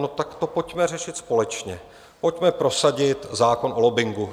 No tak to pojďme řešit společně, pojďme prosadit zákon o lobbingu.